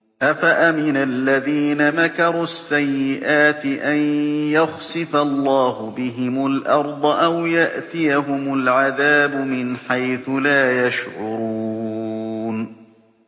أَفَأَمِنَ الَّذِينَ مَكَرُوا السَّيِّئَاتِ أَن يَخْسِفَ اللَّهُ بِهِمُ الْأَرْضَ أَوْ يَأْتِيَهُمُ الْعَذَابُ مِنْ حَيْثُ لَا يَشْعُرُونَ